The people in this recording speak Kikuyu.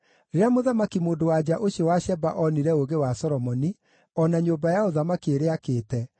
Rĩrĩa mũthamaki-mũndũ-wa-nja ũcio wa Sheba onire ũũgĩ wa Solomoni, o na nyũmba ya ũthamaki ĩrĩa aakĩte,